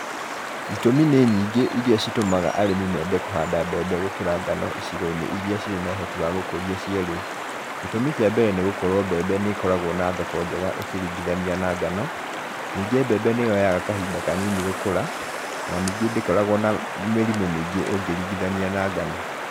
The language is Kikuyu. Itũmĩ nĩ nyingĩ iria citũmaga arĩmi mende kũhanda mbembe gũkĩra ngano icigo-inĩ iria ciĩna ũhoti wa gũkũria cierĩ. Gĩtũmi kĩa mbere nĩ gũkorwo mbembe nĩ ĩkoragwo na thoko njega ũkĩringithania na ngano, ningĩ mbembe nĩ yoyaga kahinda kanini gũkũra, o na ningĩ ndĩkoragwo na mĩrimũ mĩingĩ ũngĩringithania na ngano.